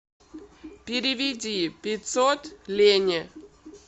переведи пятьсот лене